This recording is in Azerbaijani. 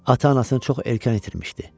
Ata-anasını çox erkən itirmişdi.